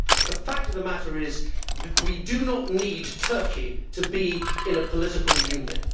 The fact of the matter is that we do not need Turkey to be in a political union.